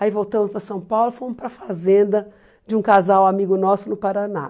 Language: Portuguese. Aí voltamos para São Paulo e fomos para a fazenda de um casal amigo nosso no Paraná.